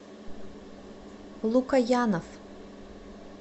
лукоянов